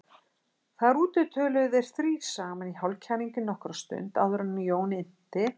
Þar úti töluðu þeir þrír saman í hálfkæringi nokkra stund áður en Jón innti